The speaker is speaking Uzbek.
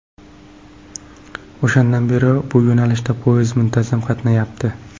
O‘shandan beri bu yo‘nalishda poyezd muntazam qatnayapti.